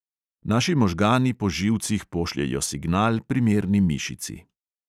Naši možgani po živcih pošljejo signal primerni mišici.